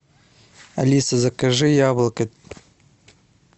алиса закажи яблоко